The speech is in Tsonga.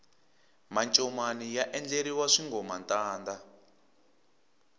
mancomani ya endleriwa swingomantanda